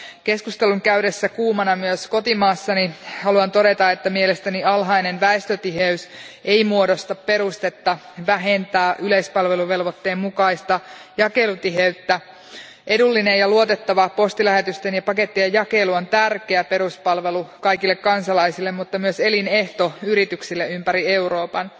Keskustelun käydessä kuumana myös kotimaassani haluan todeta, että mielestäni alhainen väestötiheys ei muodosta perustetta vähentää yleispalveluvelvoitteen mukaista jakelutiheyttä. Edullinen ja luotettava postilähetysten ja pakettien jakelu on tärkeä peruspalvelu kaikille kansalaisille, mutta myös elinehto yrityksille ympäri Euroopan.